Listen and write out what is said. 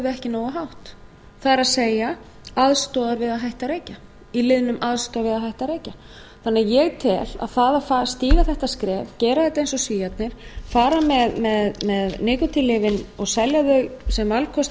ekki nógu hátt það er aðstoðar við að hætta að reykja í liðnum aðstoð við að hætta að reykja ég tel að það að stíga þetta skref gera þetta eins og svíarnir fara með nikótínlyfin og selja þau sem valkost við